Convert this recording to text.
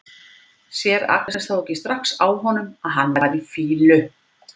Sér Agnes þá ekki strax á honum að hann var í fýlu?